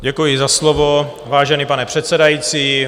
Děkuji za slovo, vážený pane předsedající.